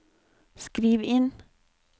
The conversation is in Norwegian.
skriv inn